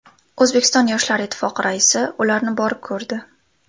O‘zbekiston Yoshlar ittifoqi raisi ularni borib ko‘rdi.